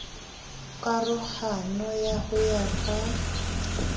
karohano ya ho ya ka